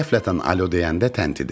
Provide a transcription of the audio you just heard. Qəflətən alo deyəndə təntidi.